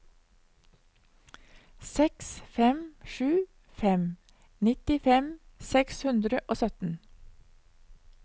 seks fem sju fem nittifem seks hundre og sytten